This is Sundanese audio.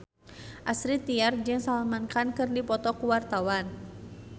Astrid Tiar jeung Salman Khan keur dipoto ku wartawan